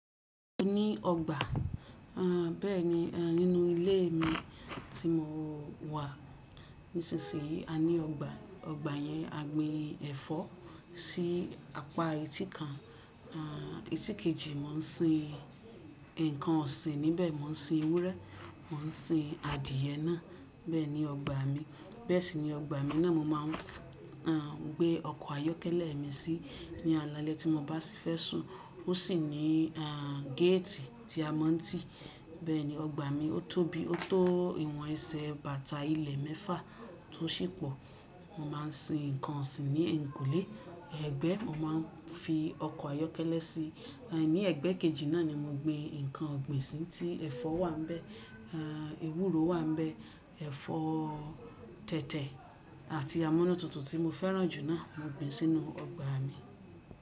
A ní ọgbà. Aà bẹ́ẹ̀ni, e nínú ilé mi tí mo wà nísinsì yí a ní ọgbà. Ọgbà yẹn a gbin ẹ̀fọ́ sí apá ẹtí kan. À ẹtí kejì mó ń sin ǹkan ọ̀sìn níbẹ̀. Mó ń sin ewúrẹ́, mó ń sin adìẹ náà. Bẹ́ẹ̀ni ọgbà mi. Bẹ́ẹ̀ sì ni ọgbà mi náà mo máa ń a gbé ọkọ̀ ayọ́kẹ́lẹ́ mi sí ní àlàlé tí mo bá sì fẹ́ sùn. Ó sì ní é gẹ́ẹ́tì tí a mọ̀ n tí. Bẹ́ẹ̀ni ọgbà mi ó tóbi, ó tó ìwọ̀n ẹsẹ̀ bàtà ilẹ̀ mẹ́fà tó sì pò. Mo máa ń sin ǹkan ọ̀sìn ní ẹ̀ytìnkùlé. Ẹgbẹ́ mo máa ń fi ọkọ̀ ayọ́kẹ́lẹ́ sí. Ní ẹ̀gbẹ́ kejì náà ni mo gbin ǹkan ọ̀gbìn sí tí ẹ̀fọ́ wà níbẹ̀, a ewúro wà níbẹ̀, ẹ̀fọ́ tẹ̀tẹ̀ àti amúnututu tí mo fẹ́ràn jù náà mo gbin sínú ọgbà mi.